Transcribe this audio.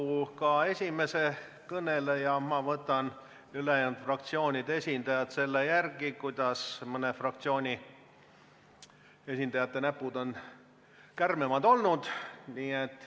Nagu ka esimese kõneleja, võtan ma ülejäänud fraktsioonide esindajad selle järgi, millise fraktsiooni esindaja näpud on kärmemad olnud.